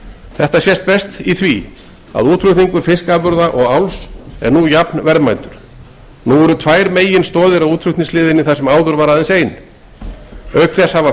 þetta sést best í því að útflutningur fiskafurða og áls er nú jafnverðmætur nú eru tvær meginstoðir á útflutningshliðinni þar sem áður var aðeins ein auk þess hafa